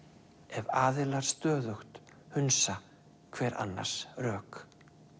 ef aðilar stöðugt hunsa hver annars rök